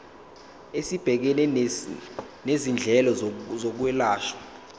esibhekene nezindleko zokwelashwa